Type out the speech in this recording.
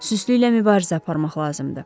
Süstlüklə mübarizə aparmaq lazımdır.